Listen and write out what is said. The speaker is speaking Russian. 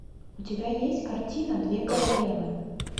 у тебя есть картина две королевы